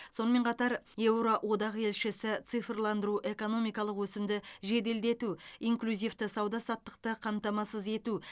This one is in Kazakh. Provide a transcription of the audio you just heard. сонымен қатар еуроодақ елшісі цифрландыру экономикалық өсімді жеделдету инклюзивті сауда саттықты қамтамасыз ету